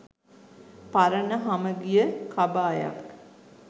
පරණ හමගිය කබායක්